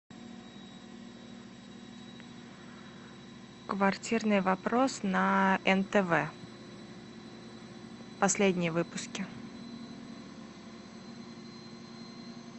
квартирный вопрос на нтв последние выпуски